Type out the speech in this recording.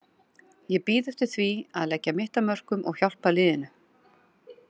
Ég bíð eftir því að leggja mitt af mörkum og hjálpa liðinu.